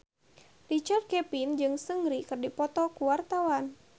Richard Kevin jeung Seungri keur dipoto ku wartawan